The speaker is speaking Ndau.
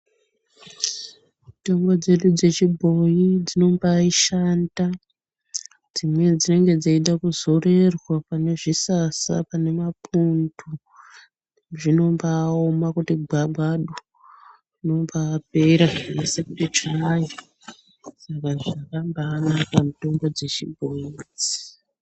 Mitombo dzedu dzechibhoyi dzinoba ashanda ,dzimweni dzinenge dzeitekuzorerwa panezvisasa pane mapundu zvinobaaoma kuti gwagwadu zvinomba apera zvese kuti tsvai saka dzakabaanaka mitombo dzichibhoyi idzi.